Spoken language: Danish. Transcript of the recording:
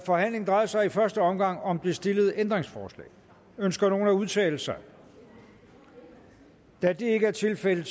forhandlingen drejer sig i første omgang om det stillede ændringsforslag ønsker nogen at udtale sig da det ikke er tilfældet